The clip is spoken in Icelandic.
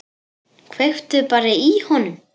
Kveiktu bara í honum.